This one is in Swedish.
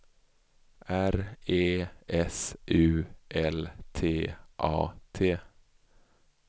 R E S U L T A T